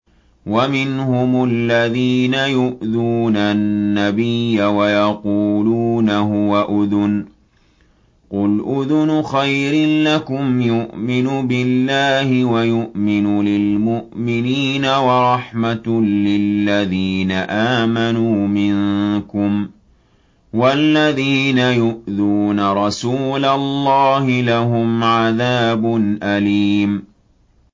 وَمِنْهُمُ الَّذِينَ يُؤْذُونَ النَّبِيَّ وَيَقُولُونَ هُوَ أُذُنٌ ۚ قُلْ أُذُنُ خَيْرٍ لَّكُمْ يُؤْمِنُ بِاللَّهِ وَيُؤْمِنُ لِلْمُؤْمِنِينَ وَرَحْمَةٌ لِّلَّذِينَ آمَنُوا مِنكُمْ ۚ وَالَّذِينَ يُؤْذُونَ رَسُولَ اللَّهِ لَهُمْ عَذَابٌ أَلِيمٌ